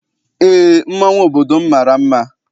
Eé, mmanwụ obodo m mara mma.